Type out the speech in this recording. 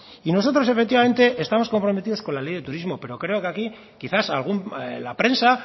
y nosotros efectivamente estamos comprometidos con la ley de turismo pero creo que aquí quizás la prensa